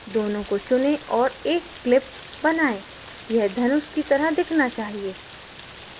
दोनों को चुनें और एक clip बनाएँ यह धनुष की तरह दिखना चाहिए